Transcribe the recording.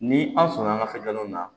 Ni an sɔnna an ka so jamanaw na